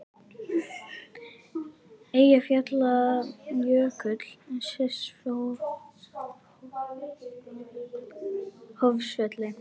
Eyjafjallajökull sést frá Hvolsvelli.